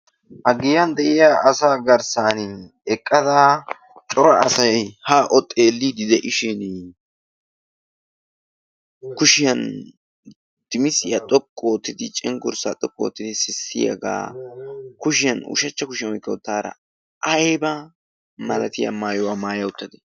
ha giyan de'iya asa garssan eqqada cora asay ha o xeellidi de'ishin kushiyan dimisiyaa xoqqu oottidi cenggurssaa xoqqu oottidi sissiyaagaa kushiyan ushachcha kushiyaa oykka uttaara ayba malatiya maayuwaa maaya uttate